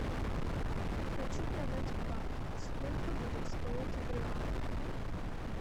хочу продать бат сколько будет стоить в реалах